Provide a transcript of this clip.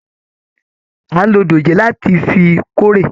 A n ló dòjé láti fí kóre.